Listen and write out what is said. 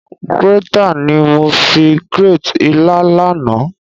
Grater ni mo fi grate ilá náà.